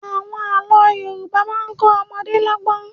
Àwọn àlọ́ Yorùbá máa ń kọ ọmọdé lọ́gbọ́n.